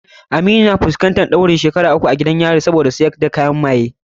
Aminu yana fuskantar ɗaurin shekaru uku a gidan yari saboda sayar da kayan maye.